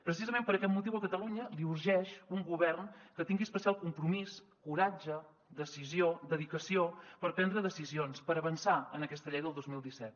precisament per aquest motiu a catalunya li urgeix un govern que tingui especial compromís coratge decisió dedicació per prendre decisions per avançar en aquesta llei del dos mil disset